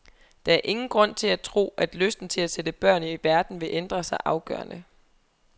Der er ingen grund til at tro, at lysten til at sætte børn i verden vil ændre sig afgørende.